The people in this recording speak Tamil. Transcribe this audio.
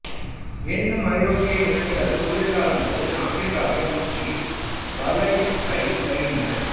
எனினும் ஐரோப்பிய இனங்கள் குளிர் காலங்களில் ஆப்பிரிக்காவை நோக்கி வலசை வருகின்றன